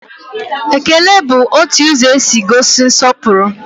Ekele bụ otu ụzọ e si egosi nsọpụrụ